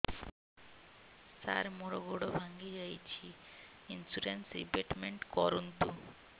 ସାର ମୋର ଗୋଡ ଭାଙ୍ଗି ଯାଇଛି ଇନ୍ସୁରେନ୍ସ ରିବେଟମେଣ୍ଟ କରୁନ୍ତୁ